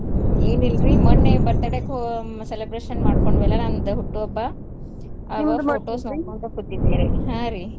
ಹ್ಮ್ ಏನಿಲ್ರೀ ಮೊನ್ನೆ birthday ಹೋ~ celebration ಮಾಡ್ಕೊಂಡ್ವೆಲ್ಲ ನಮ್ದ ಹುಟ್ಟು ಹಬ್ಬ photos ನೋಡ್ಕೋತ್ ಕುಂತಿದ್ದೆ ರೀ ಹಾ ರೀ.